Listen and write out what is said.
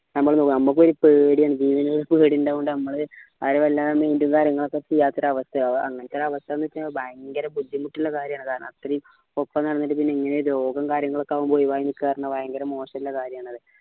നമ്മക്കൊരു പേടിയാണ് ഇത് ഇങ്ങനെ ഒരു പേടി ഇണ്ടായോണ്ട് നമ്മള് അവരെ വല്ലാണ്ട് മിണ്ടും കാര്യങ്ങളൊന്നും ചെയ്യാത്ത ഒരു അവസ്ഥയ അങ്ങനത്തെ ഒരു അവസ്ഥ എന്നുവെച്ചാ ഭയങ്കര ബുദ്ധിമുട്ടുള്ള കാര്യാണ് കാരണം അത്രയും ഒപ്പം നടന്നിട്ട് പിന്നെ ഇങ്ങനെ ഒരു രോഗം കാര്യങ്ങളൊക്കെ ആകുമ്പോ ഒഴിവായി നിക്ക എന്ന് പറയുമ്പോ ഭയങ്കര മോശമുള്ള കാര്യാണത്